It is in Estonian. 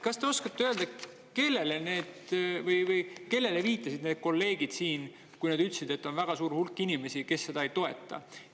Kas te oskate öelda, kellele viitasid need kolleegid siin, kui nad ütlesid, et on väga suur hulk inimesi, kes seda ei toeta?